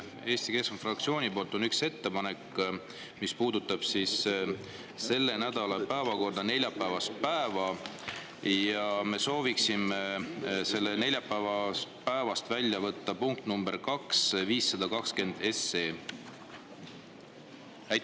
Eesti Keskerakonna fraktsioonilt on üks ettepanek, mis puudutab selle nädala päevakorra neljapäevast päeva: me sooviksime neljapäevast välja võtta punkti nr 2, 520 SE.